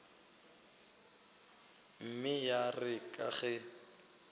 mme ya re ka ge